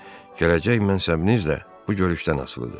Gələcək mənsubinizlə bu görüşdən asılıdır.